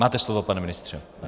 Máte slovo, pane ministře.